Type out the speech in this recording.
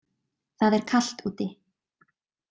Það er kalt úti.